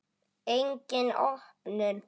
Engin opnun.